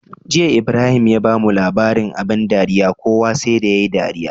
Jiya Ibrahim ya bamu labarin abun dariya kowa sai da yayi dariya